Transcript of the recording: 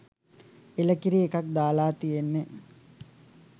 එළකිරි එකක් දාලා තියෙන්නෙ.